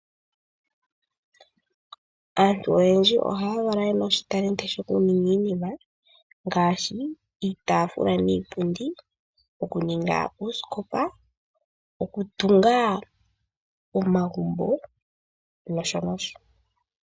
Aantu oyendji ohaya valwa yena oshitalenti shokuninga iinima ngaashi iitaafula niipundi, okuninga uusikopa, okutunga omagumbo nosho nosho.